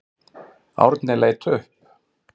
Árni leit upp.